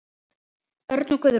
Örn og Guðrún.